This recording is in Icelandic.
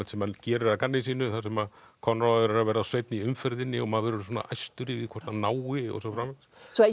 sem hann gerir að gamni sínu þar sem Konráð er er að verða of seinn í umferðinni og maður verður æstur yfir því hvort hann nái og svo framvegis